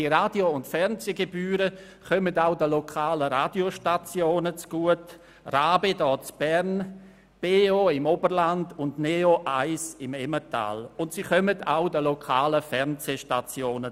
Diese Radio- und Fernsehgebühren kommen auch den lokalen Radiostationen zugute, wie «RaBe» hier in Bern, «BeO» im Oberland und «neo1» im Emmental, sowie den lokalen Fernsehstationen.